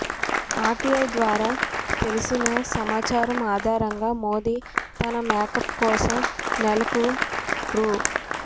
RTI ద్వారా తెలిసిన సమాచారం ఆధారంగా మోదీ తన మేకప్ కోసం నెలకు రూ